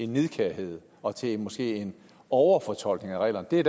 nidkærhed og til måske en overfortolkning af reglerne det er